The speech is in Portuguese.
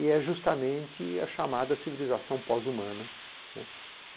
E é justamente a chamada civilização pós-humana.